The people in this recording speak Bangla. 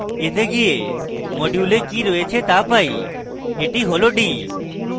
এতে গিয়ে module এ কি রয়েছে তা পাই এটি হল d